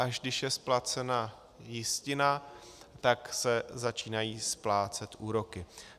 Až když je splacena jistina, tak se začínají splácet úroky.